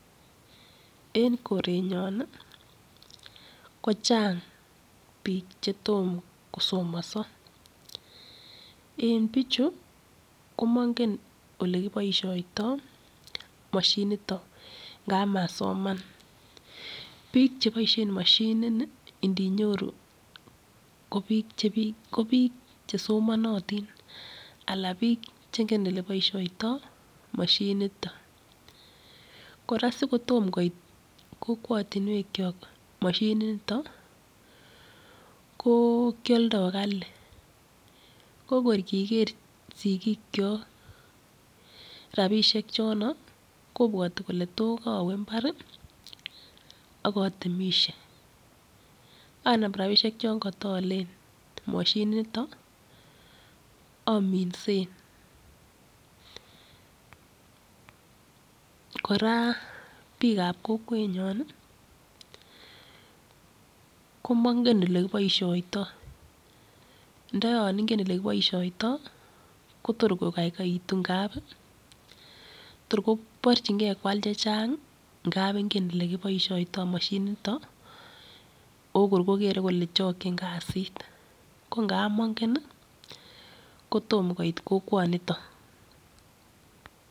En korenyon kochang bik chetomo kosomoso en bichu komonge olekiboishoitoi moshinito ngap masoman, bik cheboishen moshinini indinyoru kobik chesomonotin ala bik chengen eleboishotoi moshinito, koraa sikotom koit kokwotinwekyok moshininito ko kioldo kali kokor kiker sigikyok rabishek chon kobwote kole to koowe imbar ok otemishe anam rabishek chon kotoole moshininiton ominsen, koraa bikab kokwenyon komonge olekiboishoitoi, ndo yon ingen elekiboisioitoi kotor kokoikoitu ngap kor koborjingee kwal chechang ingap ingee elekiboisioitoi moshininiton oo kor kokere kole chokchin kazit ko ngap mongen ii kotom koit kokwoniton.